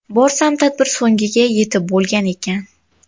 Borsam tadbir so‘ngiga yetib bo‘lgan ekan.